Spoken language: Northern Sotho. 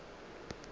a bona tšeo a napa